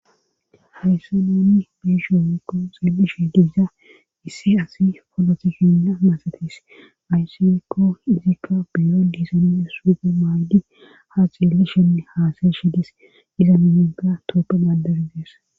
haysse nouni biishoomekko xeeli shi diisa issi asi folotikina masatis ayssiekko izikka biro disoon suuge maaydi ha xiele shenne haasaye shidis iza mimenka tooppe gadari de'es